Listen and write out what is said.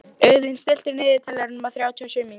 Auðunn, stilltu niðurteljara á þrjátíu og sjö mínútur.